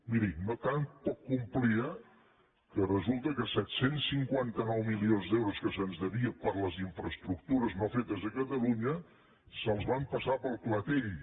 miri tan poc complia que resulta que set cents i cinquanta nou milions d’euros que se’ns devia per les infraestructures no fetes a catalunya se’ls van passar pel clatell